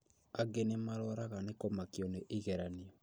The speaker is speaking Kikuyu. Angĩ nĩmarwaraga nĩ kũmakio nĩ igeranio